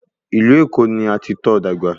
Ìlú Èkó ni a ti tọ́ ọ dàgbà